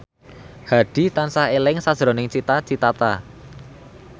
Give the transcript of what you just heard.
Hadi tansah eling sakjroning Cita Citata